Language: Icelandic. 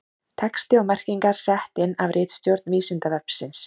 Texti og merkingar sett inn af ritstjórn Vísindavefsins.